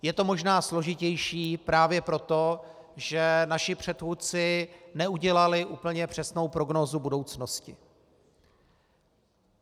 Je to možná složitější právě proto, že naši předchůdci neudělali úplně přesnou prognózu budoucnosti.